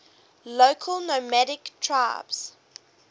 local nomadic tribes